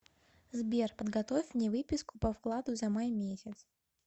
сбер подготовь мне выписку по вкладу за май месяц